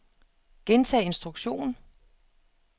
gentag instruktion